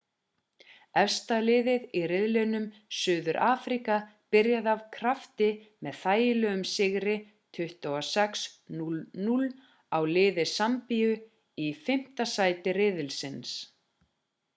efsta liðið í riðinum suður-afríka byrjaði af krafti með þægilegum sigri 26 - 00 á liði sambíu í 5. sæti riðilsins